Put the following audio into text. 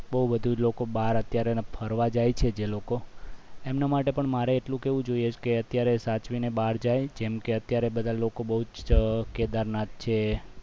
બહુ બધું લોકો બહાર અત્યારે ફરવા જાય છે જે લોકો એમના માટે પણ મારે એટલું કહેવું જોઈએ છે કે અત્યારે સાચવીને બહાર જાય જેમ કે અત્યારે બધા બહુ જ લોકો કેદારનાથ છે